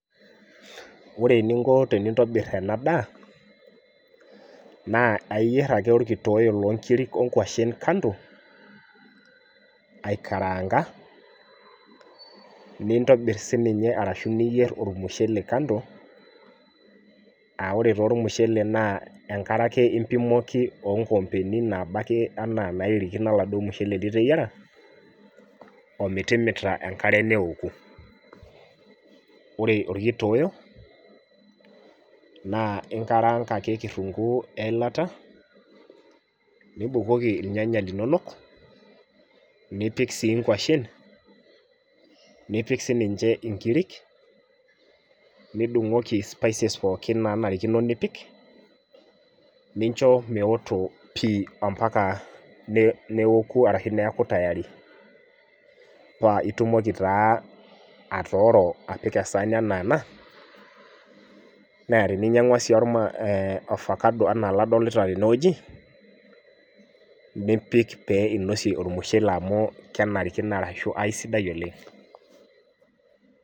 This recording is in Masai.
Ore eninko tenintobir ena daa, naa aiyier ake orkitoyo lonkiri onkwashen kando, aikaraanka, nintobir sininye arashu niyier ormushele kando, ah ore taa ormushele naa enkare ake impimoki onkoombeni naba ake anaa nairirikino oladuo mushele liteyiara, ometimita enkare neoku. Ore orkitoyoo, naa inkaraanka ake kitunkuu eilata, nibukoki irnyanya linonok, nipik si nkwashen, nipik sininche inkirik, nidung'oki spices pookin nanarikino nipik, nincho meoto pi ompaka neoku arashu neeku tayari. Pa itumoki taa atooro apik esaani enaa ena, na teninyang'ua si ofakado enaa oladolita tenewueji, nipik pee inosie ormushele amu kenarikino ashu aisidai oleng.